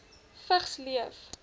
vigs leef